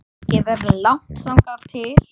Kannski verður langt þangað til